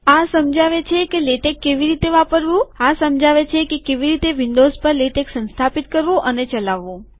આ સમજાવે છે કે લેટેક કેવી રીતે વાપરવું આ સમજાવે છે કે કેવી રીતે વિન્ડોઝ પર લેટેક સંસ્થાપિત કરવું અને ચલાવવું